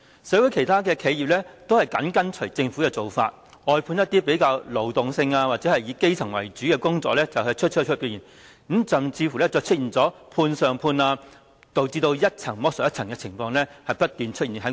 社會其他企業都緊隨政府的做法，外判一些比較勞動性或者以基層為主的工作出去，甚至出現"判上判"，導致一層剝削一層的情況不斷在勞工界出現。